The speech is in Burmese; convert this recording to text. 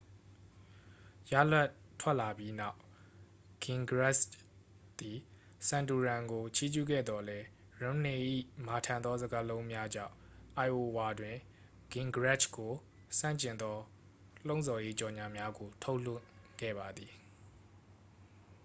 ရလဒ်ထွက်လာပြီးနောက် ဂင်ဂရစ်ချ်သည် ဆန်တိုရမ်ကို ချီးကျူးခဲ့သော်လည်း ရွန်းမ်နေ၏ မာထန်သောစကားလုံးများကြောင့် အိုင်အိုဝါတွင် ဂင်ဂရစ်ချ်ကိုဆန့်ကျင်သော လှုံ့ဆော်ရေးကြော်ငြာများကို ထုတ်လွှင့်ခဲ့ပါသည်